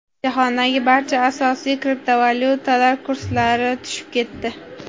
Jahondagi barcha asosiy kriptovalyutalar kurslari tushib ketdi.